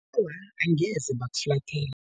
Awa, angeze bakuflathela.